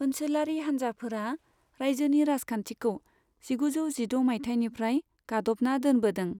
ओनसोलारि हानजाफोरा रायजोनि राजखान्थिखौ जिगुजौ जिद' मायथाइनिफ्राय गाद'बना दोनबोदों।